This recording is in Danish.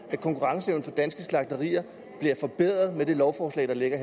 at konkurrenceevnen for danske slagterier bliver forbedret med det lovforslag der ligger